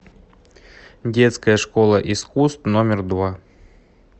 детская школа искусств номер два